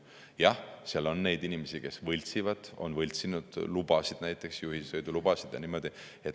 Jah, seal on neid inimesi, kes võltsivad, on võltsinud näiteks juhilubasid.